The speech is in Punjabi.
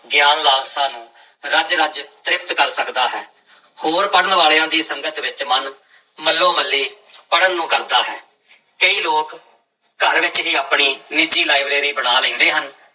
ਗਿਆਨ ਲਾਲਸਾ ਨੂੰ ਰਜ ਰਜ ਤ੍ਰਿਪਤ ਕਰ ਸਕਦਾ ਹੈ, ਹੋਰ ਪੜ੍ਹਨ ਵਾਲਿਆਂ ਦੀ ਸੰਗਤ ਵਿੱਚ ਮਨ ਮੱਲੋ ਮੱਲੀ ਪੜ੍ਹਨ ਨੂੰ ਕਰਦਾ ਹੈ, ਕਈ ਲੋਕ ਘਰ ਵਿੱਚ ਹੀ ਆਪਣੀ ਨਿੱਜੀ ਲਾਇਬ੍ਰੇਰੀ ਬਣਾ ਲੈਂਦੇ ਹਨ।